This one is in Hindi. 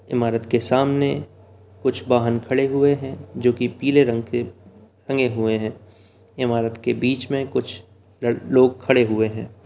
इमारत के सामने कुछ वाहन खड़े हुए हैं जो की पीले रंग के रंग के रंगे हुए है इमारत के बीच में कुछ लोग खड़े हुए हैं।